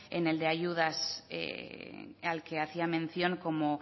en el de ayudas al que hacía mención como